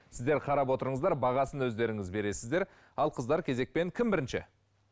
сіздер қарап отырыңыздар бағасын өздеріңіз бересіздер ал қыздар кезекпен кім бірінші